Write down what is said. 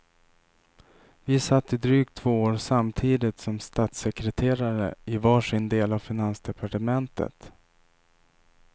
Vi satt i drygt två år samtidigt som statssekreterare i var sin del av finansdepartementet.